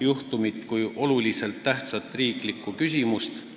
juhtumit kui olulise tähtsusega riiklikku küsimust.